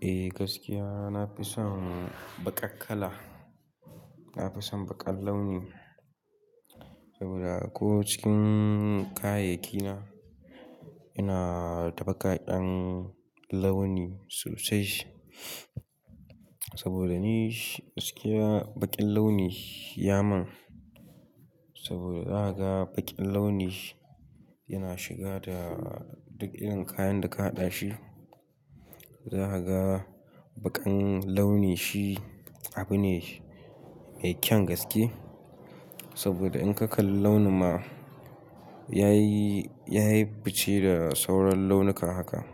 Eh gaskiya, na fi son baƙar kala. Na fi son baƙar launi saboda ko cikin kayayyaki na, ina da baƙaƙen launi sosai. Saboda ni gaskiya baƙin launi ya mun saboda za ka ga baƙin launi yana shiga da duk irin kayan da ka haɗa shi. Za ka ga baƙan launi shi abu ne mai kyan gaske saboda in ka kalli launin ma ya yi, ya yi fice da sauran launuka haka.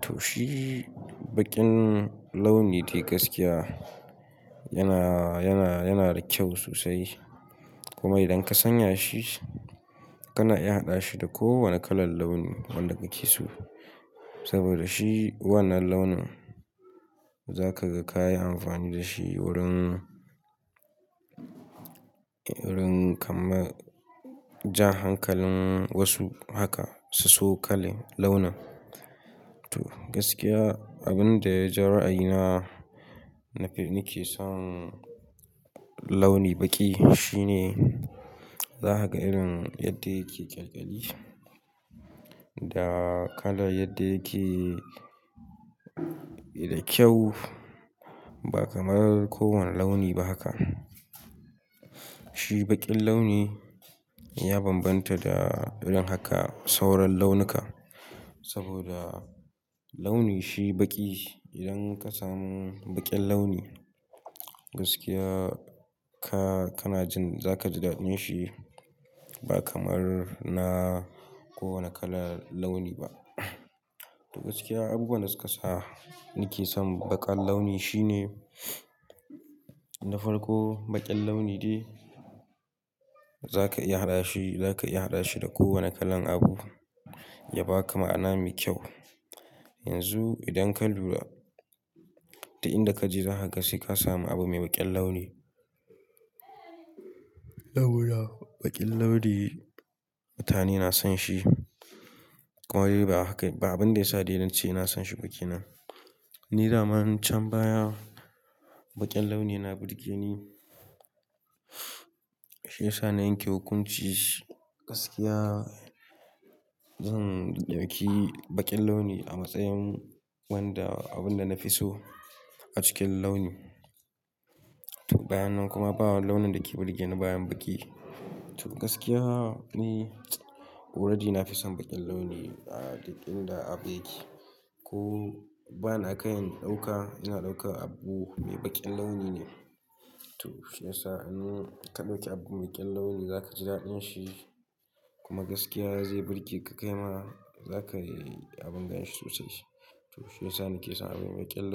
To shi baƙin launi dai gaskiya yana, yana, yana da kyau sosai. Kuma idan ka sanya shi, kana iya haɗa shi da kowane kalar launi wanda kake so. Saboda shi wannan launin za ka ga ka yi amfani da shi wurin, wurin kamar jan hankalin wasu haka su so kala launin. To gaskiya abin da ya ja ra'ayina nake son launi baƙi shine za ka ga irin yadda yake ƙyalƙyali da kalar yadda yake da kyau ba kamar kowane launi ba haka. Shi baƙin launi ya bambanta da irin haka sauran launuka saboda launi shi baƙi idan ka samu baƙin launi, gaskiya ka, kana jin za ka ji daɗin shi ba kamar na kowane kalar launi ba. To gaskiya abubuwan da su ka sa nake son baƙar launi shine na farko, baƙin launi dai za ka iya haɗa shi, za ka iya haɗa shi da kowane kalan abu ya baka ma'ana mai kyau. Yanzu idan ka lura duk inda kaje za ka ga sai ka samu abu mai baƙin launi. Lawura, baƙin launi mutane na son shi kuma dai ba haka ba, abin da ya sa nece ina son shi ba kenan. Ni daman can baya baƙin launi yana burge ni, shi ya sa na yanke hukunci gaskiya. Zan ɗauki baƙin launi a matsayin wanda abun da na fi so a cikin launi. To bayan nan kuma babu launin da ke burge ni bayan baƙi. To gaskiya ne, wurani na fi son baƙin launi a duk inda abu yake. Ko bani a kai in ɗauka, ina ɗauka abu mai baƙin launi ne. To shi ya sa in ka ɗauki abu mai baƙin launi za ka ji daɗin shi kuma gaskiya zai burge ka. Kai ma za ka yi abun ganshi sosai. To shi ya sa nake son abu mai baƙin launi.